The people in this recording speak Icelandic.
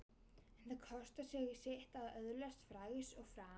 En það kostar sitt að öðlast frægð og frama.